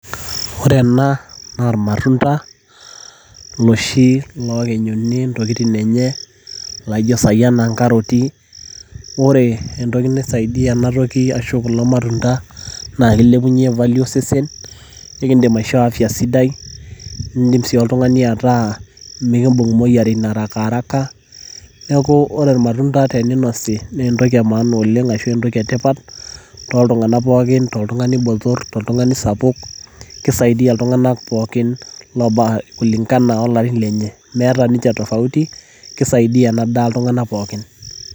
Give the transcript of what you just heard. Ore ena naa, na ormatunda, loshi lokinyuni intokiting' enye, laijo sai ena nkaroti. Ore entoki naisaidia enatoki ashu kulo matunda, na kilepunye value osesen, nikidim aishoo afya sidai. Idim si oltung'ani ataa mikibung' imoyiaritin arakaraka, neeku ore irmatunda teninosi, na entoki emaana oleng' ashu entoki etipat, toltung'anak pookin, toltung'ani botor, toltung'ani sapuk, kisaidia iltung'anak pookin kulingana olarin lenye. Meeta ninche tofauti, kisaidia ena daa iltung'anak pookin.